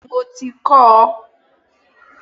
Bẹẹni, mo ti kọ́ ọ